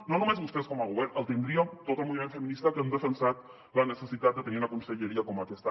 no només vostès com a govern el tindríem tot el moviment feminista que hem defensat la necessitat de tenir una conselleria com aquesta